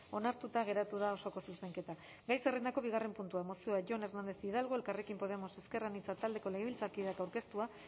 onartuta geratu da osoko zuzenketa gai zerrendako bigarren puntua mozioa jon hernández hidalgo elkarrekin podemos ezker anitza taldeko legebiltzarkideak aurkeztua